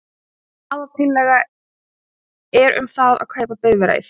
Aðaltillaga er um það að kaupa bifreið.